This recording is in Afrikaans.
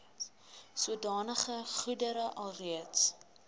sodanige goedere alreeds